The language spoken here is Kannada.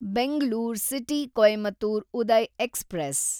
Bengaluru city Coimbatore Uday express